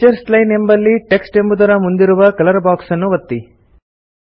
teachers line ಎಂಬಲ್ಲಿ text ಎಂಬುದರ ಮುಂದಿರುವ ಕಲರ್ ಬಾಕ್ಸ್ ಅನ್ನು ಒತ್ತಿ